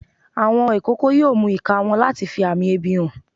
Àwọn ọmọ ikoko yoo mú ika wọn latí fí amí ebi hán